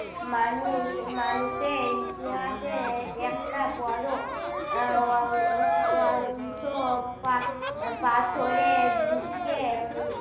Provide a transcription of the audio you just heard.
মানুষ, মানুষের ইতিহাসে একটা বড়ো আহ অং~অংশ পা~ পাথরের যুগকে